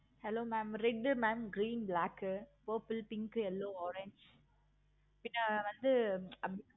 hello mam red mam green, black, purple, pink, yellow, orange பின்ன வந்து